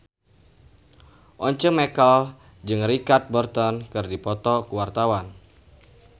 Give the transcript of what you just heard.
Once Mekel jeung Richard Burton keur dipoto ku wartawan